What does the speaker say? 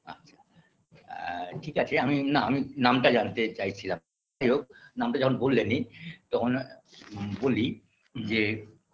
আচ্ছা আ ঠিক আছে আমি না আমি নামটা জানতে চাইছিলাম যাই হোক নামটা যখন বললেনই তখন বলি যে